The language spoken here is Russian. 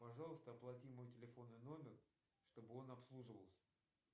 пожалуйста оплати мой телефонный номер чтобы он обслуживался